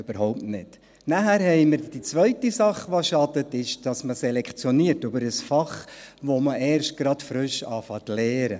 Dann gibt es die zweite Sache, die schadet, nämlich, dass man über ein Fach selektioniert, das man erst gerade frisch zu lernen beginnt.